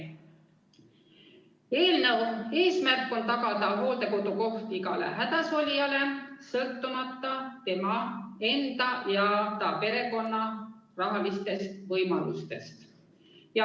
Eelnõu eesmärk on tagada hooldekodukoht igale hädasolijale, sõltumata tema enda ja ta perekonna rahalistest võimalustest.